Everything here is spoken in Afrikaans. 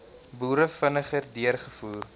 boere vinniger deurgevoer